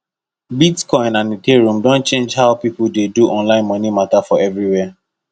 bitcoin and ethereum don change how people dey do online money matter for everywhere